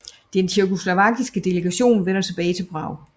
Den tjekkoslovakiske delegation vender tilbage til Prag